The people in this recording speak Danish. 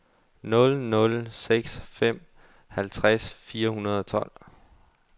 nul nul seks fem halvtreds fire hundrede og tolv